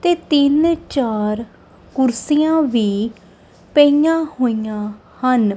ਤੇ ਤਿੰਨ ਚਾਰ ਕੁਰਸੀਆਂ ਵੀ ਪਈਆਂ ਹੋਈਆਂ ਹਨ।